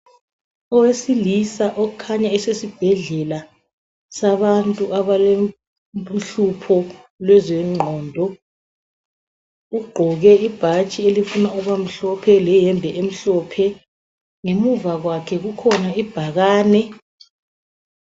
Owesilisa okhanya esesibhedlela sabantu abalohlupho lwezengqondo. Ugqoke ibhatshi elifuna ukubamhlophe lehembe emhlophe. Ngemuva kwakhe kukhona ibhakane.